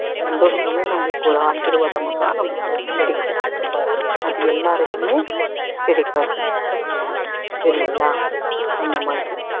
சந்தோஷமே நம்மளுக்கு ஒரு ஆசிர்வாதமா தான் நம்மளுக்கு அது கிடைக்கும் அது எல்லாருக்குமே கிடைக்காது சரிங்களா அந்த மாதிரி